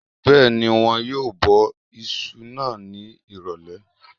Bẹ́ẹ̀ni, wọn yóò bọ isu náà ní ìrọ̀lẹ̀